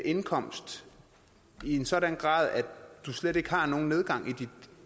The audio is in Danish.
indkomst i en sådan grad at du slet ikke har nogen nedgang